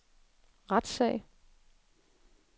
retssag